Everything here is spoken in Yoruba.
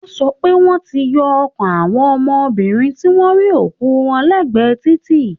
Wọ́n sọ pé wọ́n ti yọ ọkàn àwọn ọmọbìnrin tí wọ́n rí òkú wọn lẹ́gbẹ̀ẹ́ títì